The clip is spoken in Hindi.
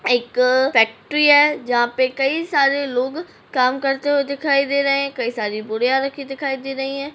एक फैक्ट्री है जहां पे कई सारे लोग काम करते हुए दिखाई दे रहै हैं कई सारी बोरियां रखी दिखाई दे रही हैं।